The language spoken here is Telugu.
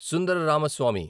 సుందర రామస్వామి